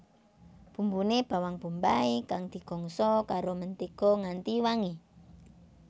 Bumbune bawang bombay kang digongso karo mentega nganti wangi